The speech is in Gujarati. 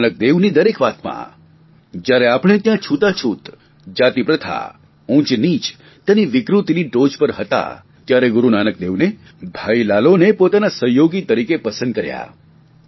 ગૂરુ નાનકદેવની દરેક વાતમાં જયારે આપણે ત્યાં છૂતાછૂત જાતિપ્રથા ઉંચનીચ તેની વિકૃતિની ટોચ પર હતા ત્યારે ગુરૂ નાનકદેવને ભાઇ લાલોને પોતાના સહયોગી તરીકે પસંદ કર્યા